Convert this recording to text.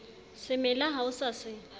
semela ha o sa se